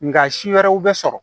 Nka si wɛrɛw bɛ sɔrɔ